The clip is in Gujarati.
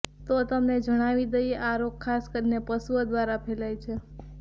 તો તમને જણાવી દઈએ આ રોગ ખાસ કરી પશુઓ દ્વારા ફેલાય છે